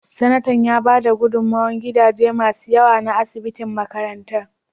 Sanatan ya bada gudummawar gadaje masu yawa na asibitin makarantar.